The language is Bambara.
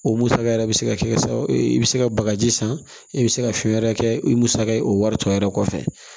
O musaka yɛrɛ bɛ se ka kɛ sababu ye i bɛ se ka bagaji san i bɛ se ka fɛn wɛrɛ kɛ o ye musaka ye o wari tɔ yɛrɛ kɔfɛ